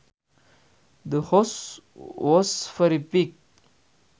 The house was very big